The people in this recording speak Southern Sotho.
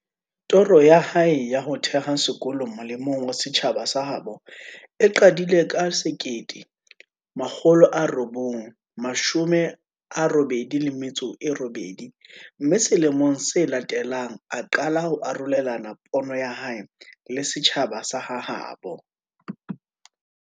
Toro ya hae ya ho theha sekolo mole mong wa setjhaba sa habo e qadile ka 1988, mme sele mong se latelang, a qala ho arolelana pono ya hae le setjhaba sa ha habo.